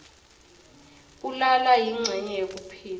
kulala yincenye yekuphila